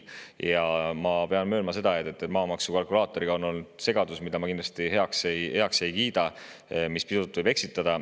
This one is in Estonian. Ja ma pean möönma, et maamaksu kalkulaatoriga on olnud segadus, mida ma kindlasti heaks ei kiida, sest see võib pisut eksitada.